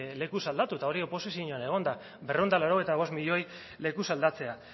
lekuz aldatu eta hori oposizioan egonda berrehun eta laurogeita bost milioi lekuz aldatzea